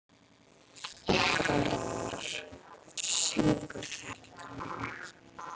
Garðar, hver syngur þetta lag?